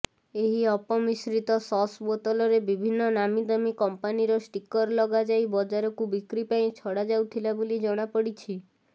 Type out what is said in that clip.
ଏହି ଅପମିଶ୍ରିତ ସସ୍ ବୋତଲରେ ବିଭିନ୍ନ ନାମୀଦାମୀ କମ୍ପାନୀର ଷ୍ଟିକର ଲଗାଯାଇ ବଜାରକୁ ବିକ୍ରି ପାଇଁ ଛଡ଼ାଯାଉଥିଲା ବୋଲି ଜଣାପଡ଼ିଛି